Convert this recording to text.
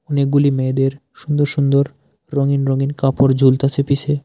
অনেকগুলি মেয়েদের সুন্দর সুন্দর রঙিন রঙিন কাপড় ঝুলতাসে পিসে।